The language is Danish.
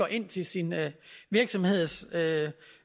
ind til sin virksomheds